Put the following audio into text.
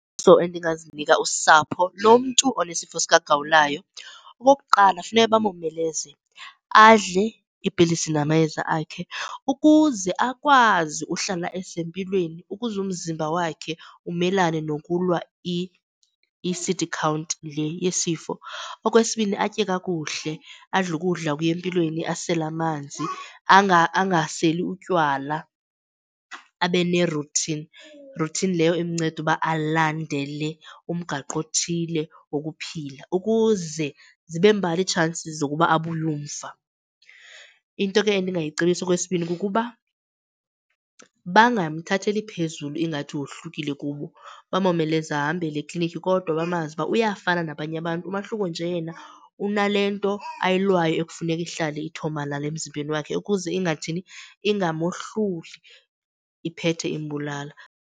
So, endingazinika usapho lomntu onesifo sikagawulayo. Okokuqala, funeka bamomeleze adle iipilisi namayeza akhe ukuze akwazi uhlala esempilweni, ukuze umzimba wakhe umelane nokulwa i-C_D count le yesifo. Okwesibini, atye kakuhle, adle ukudla okuya empilweni, asele amanzi angaseli utywala abe ne-routine, routine leyo imnceda uba alandele umgaqo othile wokuphila ukuze zibe mbalwa itshansis zokuba abuye umva. Into ke endingayicebisa okwesibini kukuba bangamthatheli phezulu ingathi wohlukile kubo, bamomeleze ahambele eklinikhi. Kodwa bamazi ukuba uyafana nabanye abantu umahluko nje yena unale nto ayilwayo ekufuneka ihlale ithomalale emzimbeni wakhe ukuze ingathini, ingamohluli iphethe imbulala.